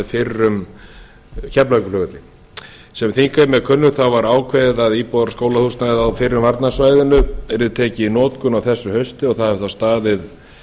fyrrum varnarsvæðis á keflavíkurflugvelli eins og þingheimi er kunnugt var ákveðið að íbúðar og skólahúsnæðið á fyrrum varnarsvæðinu yrði tekið í notkun á þessu hausti og það hefur þá staðið